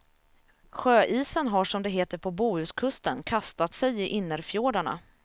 Sjöisen har som det heter på bohuskusten kastat sig i innerfjordarna.